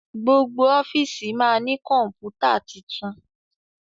gbogbo ọfiisi ma ní Kọ̀ǹpútà títún.